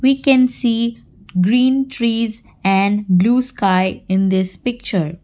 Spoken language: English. we can see green trees and blue sky in this picture.